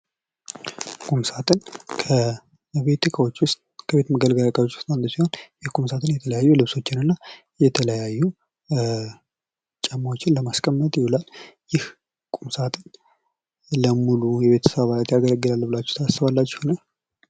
ቁም ሳጥን ከቤት መገልገያ እቃዎች ውስጥ አንዱ ሲሆን የቁም ሳጥን የተለያዩ ልብሶችንና የተለያዩ ጫማዎችን ለማስቀመጥ ይውላል። ይህ ቁም ሳጥን ለሙሉ የቤተሰብ አባላት ያገለግላል ብላችሁ ታስባላችሁን?